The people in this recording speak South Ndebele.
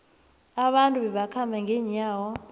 abantu babekhamba ngenyawo